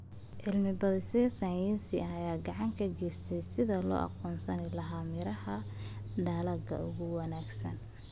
Cilmi-baadhisyo sayniseed ayaa gacan ka geysta sidii loo aqoonsan lahaa miraha dalagga ugu wanaagsan.